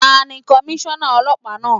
Tani Komíṣọ́nà Ọlọ́pàá náà?